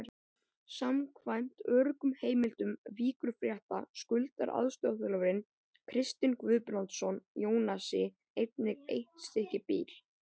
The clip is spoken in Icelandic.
Samkvæmt öruggum heimildum Víkurfrétta skuldar aðstoðarþjálfarinn Kristinn Guðbrandsson Jónasi einnig eitt stykki bíl.